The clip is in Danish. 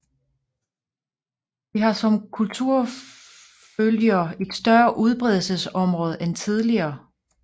De har som kulturfølgere et større udbredelsesområde end tidligere